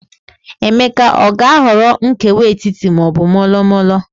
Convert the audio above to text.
Emeka aga-ahọrọ nkewa etiti ma ọ bụ molo molo?